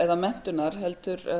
eða menntunar heldur